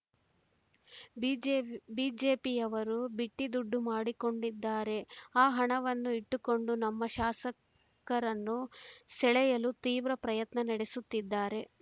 BJP ಬಿಜೆಪಿಯವರು ಬಿಟ್ಟಿದುಡ್ಡು ಮಾಡಿಕೊಂಡಿದ್ದಾರೆ ಆ ಹಣವನ್ನು ಇಟ್ಟುಕೊಂಡು ನಮ್ಮ ಶಾಸಕರನ್ನು ಸೆಳೆಯಲು ತೀವ್ರ ಪ್ರಯತ್ನ ನಡೆಸುತ್ತಿದ್ದಾರೆ